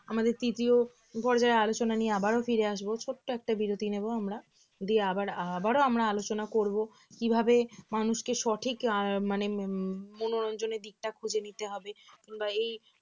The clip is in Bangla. আমাদের তৃতীয় পর্যায়ের আলোচনা নিয়ে আবারো ফিরে আসব ছোট্ট একটা বিরতি নেব আমরা দিয়ে আবার~ আবারও আমরা আলোচনা করব কিভাবে মানুষকে সঠিক মানে উম মনোরঞ্জনের দিকটা খুঁজে নিতে হবে কিংবা এই